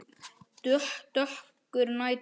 Dökkur nætur